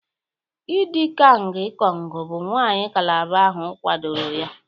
idi kang ikong bụ nwanyị calabar ahụ kwadoro ya